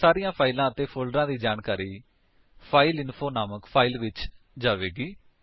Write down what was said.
ਹੁਣ ਸਾਰੀਆਂ ਫਾਇਲਾਂ ਅਤੇ ਫੋਲਡਰਾਂ ਦੀ ਜਾਣਕਾਰੀ ਫਾਈਲਇੰਫੋ ਨਾਮਕ ਫਾਇਲ ਵਿੱਚ ਜਾਵੇਗੀ